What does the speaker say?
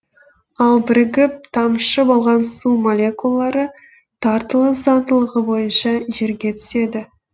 ал бірігіп тамшы болған су молекулалары тартылыс заңдылығы бойынша жерге түседі